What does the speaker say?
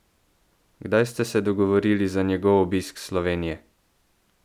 Kdaj ste se dogovorili za njegov obisk Slovenije?